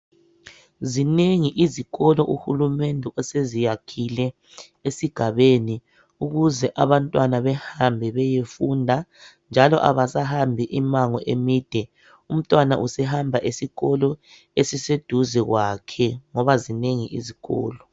Zinengi izikolo uhulumende oseziyakhile esigabeni .Ukuze abantwana ,behambe beyefunda .Njalo abasahambi imango emide .Umntwana usehamba esikolo esiseduze kwakhe ngoba zinengi izikolo.